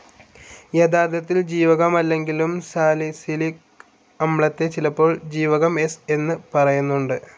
യഥാർത്ഥത്തിൽ ജീവകമല്ലെങ്കിലും സാലിസിലിക് അമ്ലത്തെ ചിലപ്പോൾ ജീവകം സ്‌ എന്ന് പറയുന്നുണ്ട്.